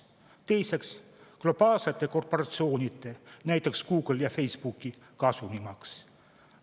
Teiseks, globaalsete korporatsioonide, näiteks Google'i ja Facebooki kasumi maks.